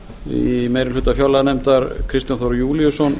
í meiri hluta fjárlaganefndar kristján þór júlíusson